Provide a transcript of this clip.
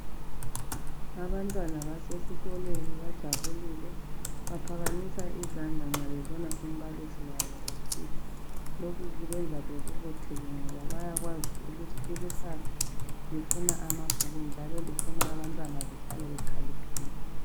Abantwana basesikolweni bajabulile. Baphakamisa izandla nxa bebona umbalisi wabo ethutsha. Lokhu kwenza bebobotheke ngoba bayakwazi ukuthi ikusasa lifuna amabhuku njalo lifuna abantwana behlale bekhaliphile